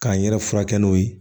K'an yɛrɛ furakɛ n'o ye